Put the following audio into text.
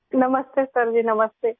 نمستے sir ji, نمستے